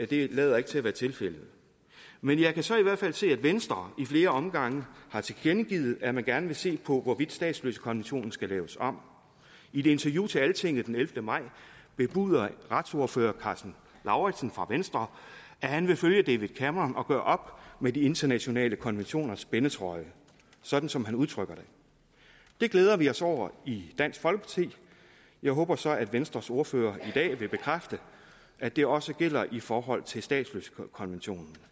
det lader ikke til at være tilfældet men jeg kan så i hvert fald se at venstre ad flere omgange har tilkendegivet at man gerne vil se på hvorvidt statsløsekonventionen skal laves om i et interview til altinget den ellevte maj bebuder retsordfører herre karsten lauritzen fra venstre at han vil følge david cameron og gøre op med de internationale konventioners spændetrøje sådan som han udtrykker det det glæder vi os over i dansk folkeparti jeg håber så at venstres ordfører i dag vil bekræfte at det også gælder i forhold til statsløsekonventionen